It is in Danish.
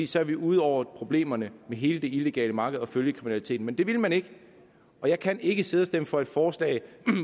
så er vi ude over problemerne med hele det illegale marked og følgekriminaliteten men det ville man ikke og jeg kan ikke sidde og stemme for et forslag